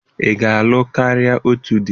Ị ga-alụ karịa otu di?